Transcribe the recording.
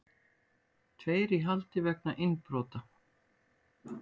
Tveir í haldi vegna innbrota